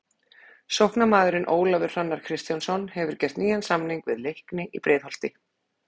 Sóknarmaðurinn Ólafur Hrannar Kristjánsson hefur gert nýjan samning við Leikni í Breiðholti.